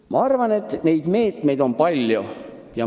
Ma arvan, et neid meetmeid on tegelikult palju.